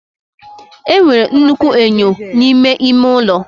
Enwere nnukwu enyo n'ime ime ụlọ